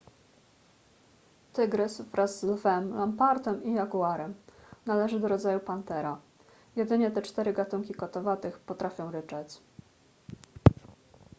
tygrys wraz z lwem lampartem i jaguarem należy do rodzaju panthera jedynie te cztery gatunki kotowatych potrafią ryczeć